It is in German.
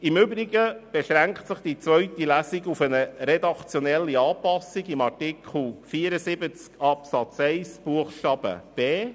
Im Übrigen beschränkt sich die zweite Lesung auf eine redaktionelle Anpassung von Artikel 74 Absatz 1 Buchstabe b.